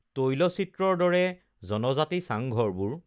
তৈলচিত্ৰৰ দৰে জনজাতি চাঙঘৰবোৰ